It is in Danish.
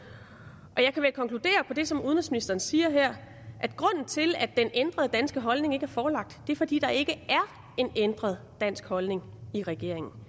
og jeg kan vel konkludere på det som udenrigsministeren siger her at grunden til at den ændrede danske holdning ikke er forelagt er fordi der ikke er en ændret dansk holdning i regeringen